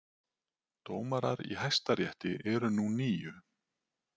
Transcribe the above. Dómarar í Hæstarétti eru nú níu